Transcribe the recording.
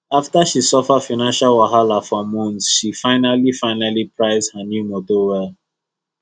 after she suffer financial wahala for months she finally finally price her new motor well